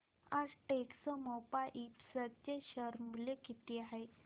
आज टेक्स्मोपाइप्स चे शेअर मूल्य किती आहे